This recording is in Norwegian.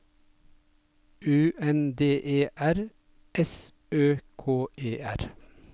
U N D E R S Ø K E R